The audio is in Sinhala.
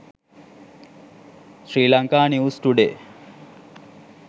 sri lanka news today